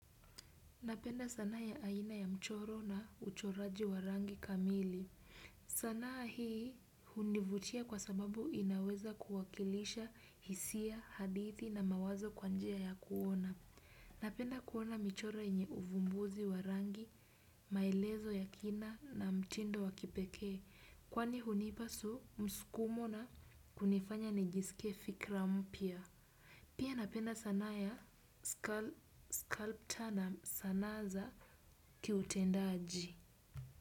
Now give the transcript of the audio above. Napenda sanaa ya aina ya mchoro na uchoraji warangi kamili. Sanaa hii hunivutia kwa sababu inaweza kuwakilisha hisia, hadithi na mawazo kwanjia ya kuona. Napenda kuona michoro yenye uvumbuzi wa rangi, maelezo ya kina na mtindo wakipekee. Kwani hunipasu msukumo na kunifanya nijisikie fikra mpya. Pia napenda sanaa ya scalp turnup sanaa za kiutendaji.